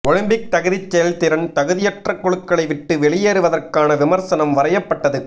Olympic தகுதிச் செயல்திறன் தகுதியற்ற குழுக்களை விட்டு வெளியேறுவதற்கான விமர்சனம் வரையப்பட்டது